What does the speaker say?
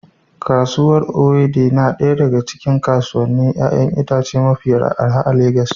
Kasuwar Owode na daya daga cikin kasuwannin 'ya'yan itace mafi arha a Legas